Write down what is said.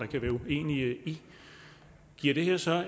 kan være uenige i giver det her så